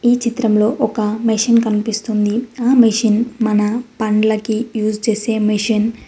ఈ చిత్రంలో ఒక మెషిన్ కనిపిస్తుంది ఆ మిషన్ మన పండ్లకి యూజ్ చేసే మిషన్ .